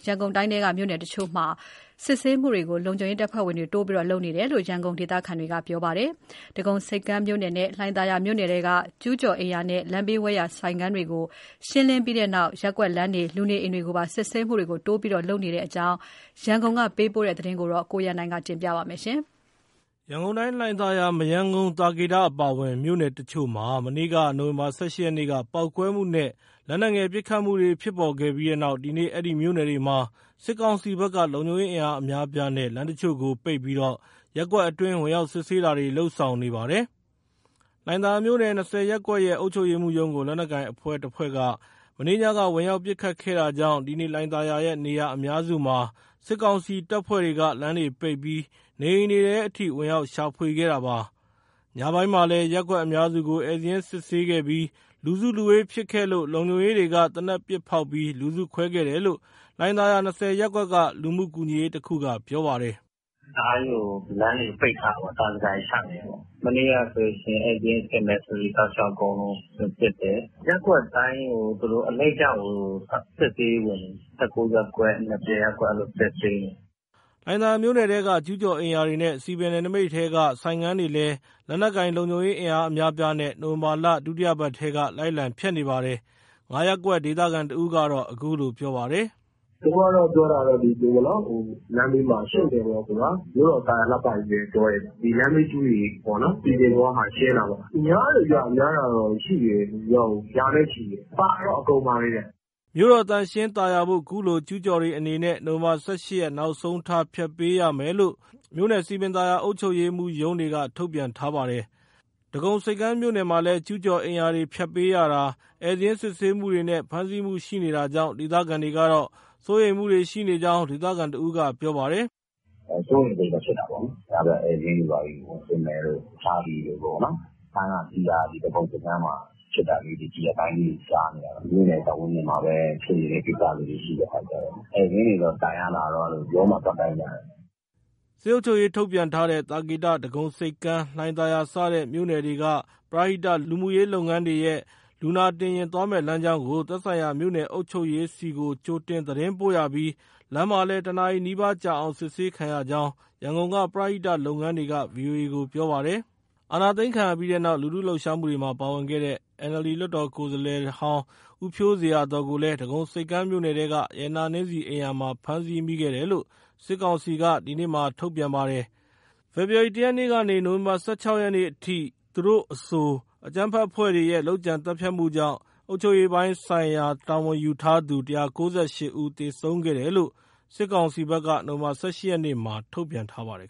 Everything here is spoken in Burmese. ရန်ကုန်တိုင်းထဲက မြို့နယ်တချို့မှာ စစ်ဆေးမှုတွေကို လုံခြုံရေးတပ်ဖွဲ့တွေ တိုးပြီးလုပ်နေတယ်လို့ ရန်ကုန်ဒေသခံတချို့က ပြောပါတယ်။ အထူးသဖြင့် ဒဂုံဆိပ်ကမ်းမြို့နယ်နဲ့ လှိုင်သာယာမြို့နယ်ထဲက ကျူးကျော်အိမ်ရာနဲ့ လမ်းဘေးဝဲယာက ဆိုင်ခန်းတွေကို ရှင်းလင်းပြီးတဲ့နောက် ရပ်ကွက်လမ်းတွေ၊ လူနေအိမ်တွေကိုပါ စစ်ဆေးမှုတွေ တိုးပြီး လုပ်နေတယ်လို့ ပြောပါတယ်။ ရန်ကုန်ကပေးပို့ထားတဲ့ ဒီသတင်းကို ကိုရန်နိုင်က တင်ပြပေးထားပါတယ်။ ရန်ကုန်တိုင်း လှိုင်သာယာ၊ မရမ်းကုန်း၊ သာကေတ အပါအဝင် မြို့နယ်တချို့မှာ မနေ့ နိုဝင်ဘာ ၁၈ ရက်နေ့က ပေါက်ကွဲမှုနဲ့ လက်နက်ငယ်ပစ်ခတ်မှုတွေ ဖြစ်ပေါ်ခဲ့ပြီးနောက် ဒီနေ့အဲဒီမြို့နယ်တွေမှာ စစ်ကောင်စီဘက်က လုံခြုံရေးအင်အား အများအပြားနဲ့ လမ်းတချို့ကိုပိတ်ပြီး ရပ်ကွက်အတွင်း ဝင်ရောက် စစ်ဆေးတာတွေ လုပ်ဆောင်နေပါတယ်။ လှိုင်သာယာမြို့နယ်၊ ၂၀ ရပ်ကွက်ရဲ့ အုပ်ချုပ်ရေးမှူးရုံးကို လက်နက်ကိုင်တဖွဲ့က မနေ့ညက ဝင်ရောက်ပစ်ခတ်ခဲ့တာကြောင့် ဒီနေ့ လှိုင်သာယာရဲ့ နေရာအများစုမှာ စစ်ကောင်စီတပ်ဖွဲ့တွေက လမ်းတွေပိတ်ပြီး နေအိမ်တွေထဲအထိ ဝင်ရောက်ရှာဖွေခဲ့တာပါ။ ညပိုင်းမှာလည်း ရပ်ကွက်အများစုကို ဧည့်စာရင်းစစ်ဆေးခဲ့ပြီး လူစုလူဝေးဖြစ်ခဲ့လို့ လုံခြုံရေးတွေက သေနတ်ပစ်ဖောက်ပြီး လူစုခွဲခဲ့တယ်လို့ လှိုင်သာယာ ၂၀ ရပ်ကွက် လူမှုကူညီရေးတခုက ပြောပါတယ်။ “တအားကြီးကို လမ်းတွေကို ပိတ်ထားတာပေါ့၊ သံဇကာတွေ ချနေတယ်ပေါ့။ မနေ့ကဆိုရင် ဧည့်စာရင်းစစ်မယ်ဆိုပြီး တောက်လျှောက်အကုန်လုံး ဝင်စစ်တယ်။ ရပ်ကွက်တိုင်းကို သူတို့အလှည့်ကျကို စစ်ဆေးရေးဝင်နေတယ်။ ၁၉ ရပ်ကွက်၊ ၂၀ ရပ်ကွက် အဲလိုစစ်ဆေးနေတယ်။” လှိုင်သာယာမြို့နယ်ထဲက ကျူးကျော်အိမ်ရာတွေနဲ့ စည်ပင်နယ်နမိတ်ထဲက ဆိုင်ခန်းတွေလည်း လက်နက်ကိုင်လုံခြုံရေးအင်အား အများအပြားနဲ့ နိုဝင်ဘာလ ဒုတိယပတ်ကတည်းက လိုက်လံဖျက်နေပါတယ်။ ၅ ရပ်ကွက်ဒေသခံတဦးက အခုလိုပြောပါတယ်။ “သူတို့ပြောတာကတော့ ဒီလိုလမ်းဘေးမှာ ရှုပ်တယ်ပေါ့၊ မြို့တော်သာယာလှပရေးပဲပြောတယ်၊ လမ်းဘေးကျူးတွေ စည်ပင်ပေါ်ကဟာတွေ ရှင်းတာပါပဲ။ ( လုံခြုံရေးအင်အားက) များတယ်ဗျ။ များတာကတော့ ရာနဲ့ချီတယ်။ ပါတာက ( လက်နက်) အကုန်ပါတယ်။” မြို့တော် သန့်ရှင်းသာယာဖို့ ကျူးကျော်တွေအနေနဲ့ နိုဝင်ဘာ ၁၈ ရက်နောက်ဆုံးထား ဖျက်ပေးရမယ်လို့ မြို့နယ်စည်ပင်သာယာအုပ်ချုပ်ရေးမှူး ရုံးတွေက ထုတ်ပြန်ထားပါတယ်။ ဒဂုံဆိပ်မြို့နယ်မှာလည်း ကျူးကျော်အိမ်ရာတွေဖျက်ပေးရတာ၊ ဧည့်စာရင်းစစ်ဆေးမှုတွေနဲ့ ဖမ်းဆီးမှုရှိနေတာကြောင့် ဒေသခံတွေကတော့ စိုးရိမ်မှုတွေ ရှိနေကြောင်း ဒေသခံတဦးက ပြောပါတယ်။ “စိုးရိမ်စိတ်တော့ ဖြစ်တာပေါ့နော်၊ ညဘက်ဧည့်စာရင်းတွေဘာတွေ ဝင်စစ်မယ်တို့ ဖမ်းတာဆီးတာ ဒီဒဂုံဆိပ်ကမ်းမှာ ဖြစ်တာလေးတွေ ဒီရက်ပိုင်းတွင်းမှာ ကြားနေရတော့ မြို့နယ်ပတ်ဝန်းကျင်မှာပဲ ဖြစ်တဲ့ကိစ္စလေးတွေ ရှိတဲ့အခါကျတော့ ဧည့်စာရင်းတွေတော့ တိုင်ရတာ ရုံးမှာသွားတိုင်ရတယ်။” စစ်အုပ်ချုပ်ရေး ထုတ်ပြန်ထားတဲ့ သာကေတ၊ ဒဂုံဆိပ်ကမ်း၊ လှိုင်သာယာ စတဲ့ မြို့နယ်တွေက ပရဟိတ လူမှုရေးလုပ်ငန်းတွေရဲ့လူနာတင်ယာဉ် သွားမယ့်လမ်းကြောင်းကို သက်ဆိုင်ရာ မြို့နယ်အုပ်ချုပ်ရေးဆီကို ကြိုတင်သတင်းပို့ရပြီး လမ်းမှာလည်း တနာရီနီးပါးကြာအောင် စစ်ဆေးခံရကြောင်း ရန်ကုန်က ပရဟိတလုပ်ငန်းတွေက ဗွီအိုအေကို ပြောပါတယ်။ အာဏာသိမ်းခံရပြီးနောက် လူထုလှုပ်ရှားမှုတွေမှာ ပါဝင်ခဲ့တဲ့ NLD လွှတ်တော်ကိုယ်စားလှယ်ဟောင်း ဦးဖြိုးဇေယျာသော်ကိုလည်း ဒဂုံဆိပ်ကမ်းမြို့နယ်က ရတနာနှင်းဆီအိမ်ယာမှာ ဖမ်းဆီးမိတယ်လို့ စစ်ကောင်စီက ဒီနေ့ထုတ်ပြန်ပါတယ်။ ဖေဖော်ဝါရီလ ၁ ရက်ကနေ နိုဝင်ဘာလ ၁၆ ရက်အထိသူတို့အဆို အကြမ်းဖက်အဖွဲ့တွေရဲ့ လုပ်ကြံသတ်ဖြတ်မှုကြောင့် အုပ်ချုပ်ရေးပိုင်းဆိုင်ရာ တာဝန်ယူထားသူ ၁၉၈ ဦးသေဆုံးခဲ့တယ်လို့ စစ်ကောင်စီက နိုဝင်ဘာလ ၁၈ ရက်မှာ ထုတ်ပြန်ထားပါတယ်